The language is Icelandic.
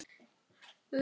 Þaðan skrifar hann